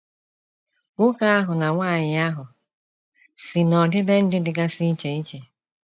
Nwoke ahụ na nwanyị ahụ si n’ọdịbendị dịgasị iche iche.